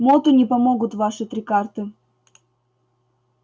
моту не помогут ваши три карты